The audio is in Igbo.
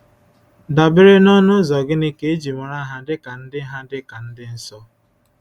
Dabere n’ọ̀nụ́ ụzọ̀ gịnị ka e ji mara ha dịka ndị ha dịka ndị nsọ?